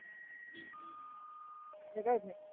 नाही काही होत नाही.